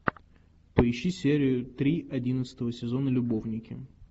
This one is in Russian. поищи серию три одиннадцатого сезона любовники